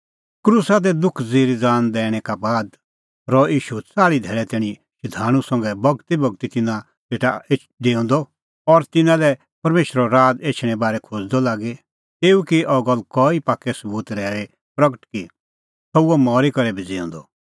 क्रूसा दी दुख ज़िरी ज़ान दैणैं का बाद रहअ ईशू च़ाल़्ही धैल़ै तैणीं शधाणूं संघै बगतीबगती तिन्नां सेटा डेऊंदअ और तिन्नां लै परमेशरो राज़ एछणें बारै खोज़दअ लागी तेऊ की अह गल्ल कई पाक्कै सबूत रहैऊई प्रगट कि सह हुअ मरी करै भी ज़िऊंदअ